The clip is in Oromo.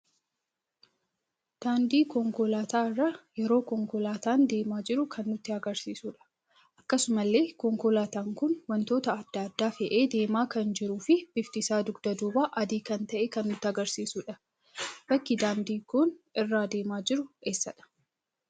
Daandii konkoolaata irra yeroo konkoolaatan deema jiru kan nutti agarsiisudha. Akkasumallee konkoolaatan kun wantoota addaa, addaa fe'ee deema kan jiruu fi bifti isaa dugda duubaan adii kan ta'e kan nutti agarsiisudha. bakki daandiin kun irraa deema jiru eessadha?